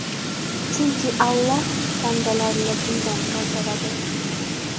Chunki Alloh bandalarini bundan qaytaradi.